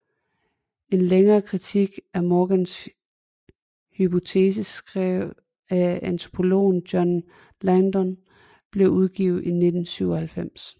En længere kritik af Morgans hypotese skrevet af antropologen John Langdon blev udgivet i 1997